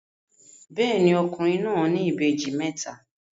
Bẹ́ẹ̀ni, ọkùnrin náà ní ìbejì mẹ́ta.